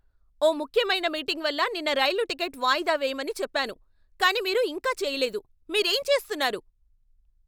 ఓ ముఖ్యమైన మీటింగ్ వల్ల నిన్న రైలు టికెట్ వాయిదా వేయమని చెప్పాను కానీ మీరు ఇంకా చేయలేదు, మీరేం చేస్తున్నారు?